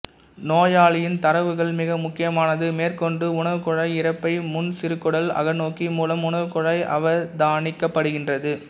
நோயாளியின் தரவுகள் மிக முக்கியமானது மேற்கொண்டு உணவுக்குழாய்இரைப்பைமுன்சிறுகுடல் அகநோக்கி மூலம் உணவுக்குழாய் அவதானிக்கப்படுகின்றது